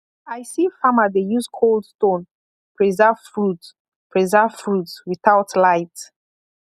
i see farmer dey use cold stone preserve fruit preserve fruit without light